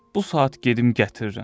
Bu saat gedim gətirirəm.